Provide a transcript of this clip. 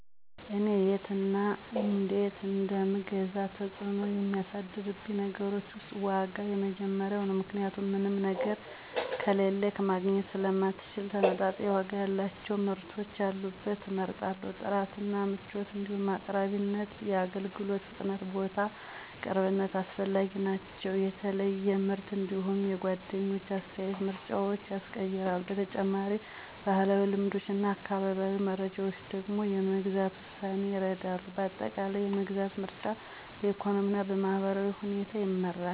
እኔ የት እና እነዴት እንደምገዛ ተጽዕኖ የሚያሳድሩብኝ ነገሮች ውስጥ ዋጋ የመጀመሪያው ነው ምክንያቱም ምንም ነገር ከሌለክ ማግኘት ስለማንችል ተመጣጣኝ ዋጋ ያላቸውን ምርቶች ያሉበትን እመርጣለሁ። ጥራት እና ምቾት እንዲሁም አቅራቢነት፣ የአገልግሎት ፍጥነትና ቦታ ቅርብነት አስፈላጊ ናቸው። የተለየ ምርት እንዲሁም የጓደኞች አስተያየት ምርጫዎችን ያስቀይራሉ። በተጨማሪም፣ ባህላዊ ልምዶችና አካባቢያዊ መረጃዎች ደግሞ የመግዛት ውሳኔን ይረዳሉ። በአጠቃላይ፣ የመግዛት ምርጫ በኢኮኖሚና በማህበራዊ ሁኔታ ይመራል።